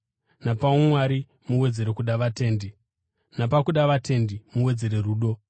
napaumwari muwedzere kuda vatendi; napakuda vatendi, muwedzere rudo.